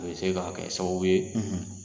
A bɛ se k'a kɛ sababu ye,